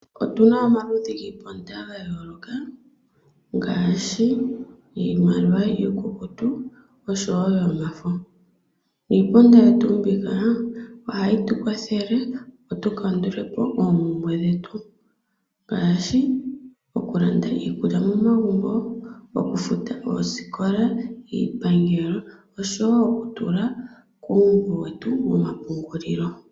Otu na omaludhi giiponda ya yooloka ngaashi iimaliwa iikukutu oshowo yomafo. Iiponda yetu mbika ohayi tu kwathele, opo tu kandule po oompumbwe dhetu ngaashi okulanda iikulya momagumbo, okufuta oosikola, iipangelo oshowo okutula kuumbo wetu womapungulilo.